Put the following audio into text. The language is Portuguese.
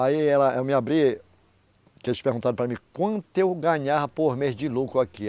Aí ela, eu me abri, que eles perguntaram para mim quanto eu ganhava por mês de lucro aqui.